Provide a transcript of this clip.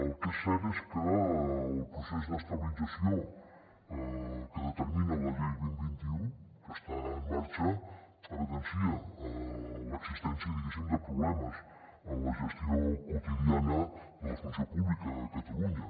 el que és cert és que el procés d’estabilització que determina la llei vint dos mil vint u que està en marxa evidencia l’existència diguéssim de problemes en la gestió quotidiana de la funció pública a catalunya